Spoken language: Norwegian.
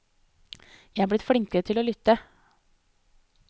Jeg er blitt flinkere til å lytte.